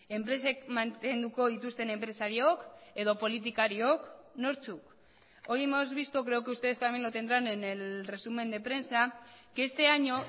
enpresek mantenduko dituzten enpresariok edo politikariok nortzuk hoy hemos visto creo que ustedes también lo tendrán en el resumen de prensa que este año